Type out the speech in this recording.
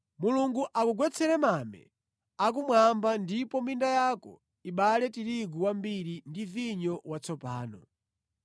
Mulungu akugwetsere mame akumwamba ndipo minda yako ibale tirigu wambiri ndi vinyo watsopano.